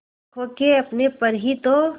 खो के अपने पर ही तो